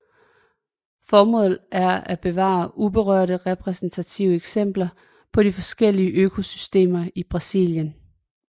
Formålet er at bevare uberørte repræsentative eksempler på de forskellige økosystemer i Brasilien